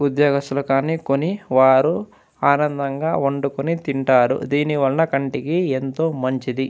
ఉద్యోగస్తులు కానీ కొని వారు ఆనందంగా వండుకొని తింటారు దీనివలన కంటికి ఎంతో మంచిది.